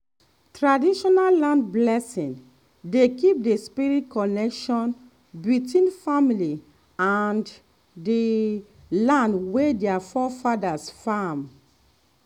traditional land blessing dey keep the spirit connection between family and the land wey their forefathers farm.